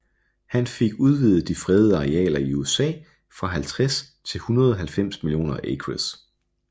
Han fik udvidet de fredede arealer i USA fra 50 til 190 millioner acres